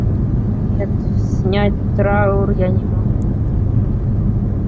нет снять траур я не могу